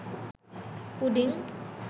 pudding